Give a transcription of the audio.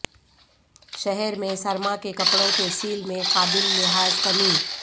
شہر میں سرما کے کپڑوں کے سیل میں قابل لحاظ کمی